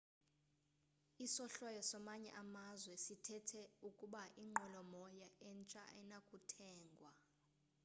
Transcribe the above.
isohlwayo samanye amazwe sithethe ukuba inqwelo moya entsha ayinakuthengwa